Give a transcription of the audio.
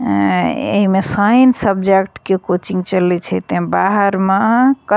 एऐं ऐमें science subject के coaching चले छे तें बाहर मा क --